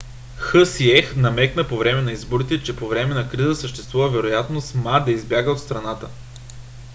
хсиех намекна по време на изборите че по време на криза съществува вероятност ма да избяга от страната